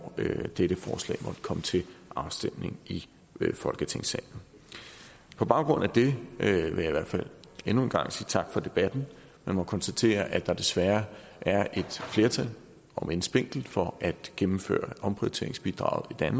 dette forslag måtte komme til afstemning i folketingssalen på baggrund af det vil jeg endnu en gang sige tak for debatten jeg må konstatere at der desværre er et flertal omend spinkelt for at gennemføre omprioriteringsbidraget